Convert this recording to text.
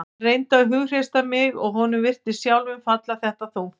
Hann reyndi að hughreysta mig og honum virtist sjálfum falla þetta þungt.